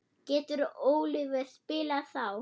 Getur Oliver spilað þá?